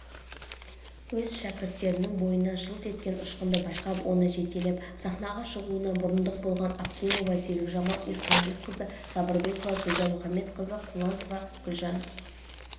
өз шәкірттерінің бойынан жылт еткен ұшқынды байқап оны жетелеп сахнаға шығуына мұрындық болған аптимова серикжамал ихсанқызы сабырбекова гүлжан мухаметказықызы құлынтаева күлжан